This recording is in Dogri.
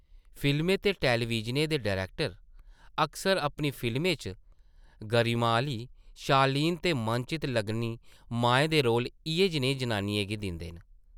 फिल्में ते टैलिविजनें दे डरैक्टर अक्सर अपनी फिल्में च गरिमा आह्ली, शालीन ते मनचित्त लग्गनी माएं दे रोल इʼयै जेही जनानियें गी दिंदे न ।